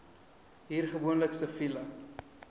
hoor gewoonlik siviele